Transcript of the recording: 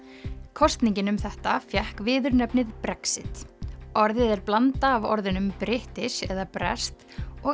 kosningin um þetta fékk viðurnefnið Brexit orðið er blanda af orðunum British eða breskt og